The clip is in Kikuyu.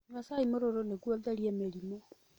Nyua cai mũruru nĩguo ũtherie mĩrimũ.